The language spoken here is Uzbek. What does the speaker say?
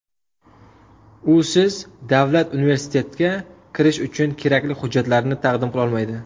Usiz davlat universitetga kirish uchun kerakli hujjatlarni taqdim qilolmaydi.